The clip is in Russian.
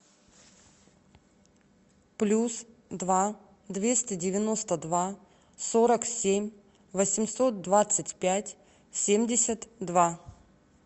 плюс два двести девяносто два сорок семь восемьсот двадцать пять семьдесят два